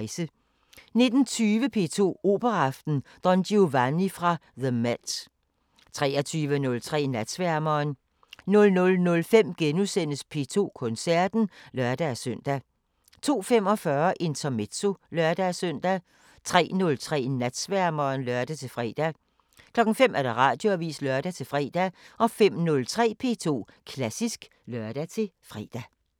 19:20: P2 Operaaften: Don Giovanni fra The MET 23:03: Natsværmeren 00:05: P2 Koncerten *(lør-søn) 02:45: Intermezzo (lør-søn) 03:03: Natsværmeren (lør-fre) 05:00: Radioavisen (lør-fre) 05:03: P2 Klassisk (lør-fre)